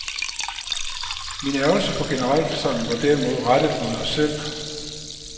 Min ærgrelse på generalforsamlingen var derimod rettet mod os selv.